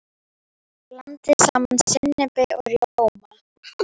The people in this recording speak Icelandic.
Blandið saman sinnepi og rjóma.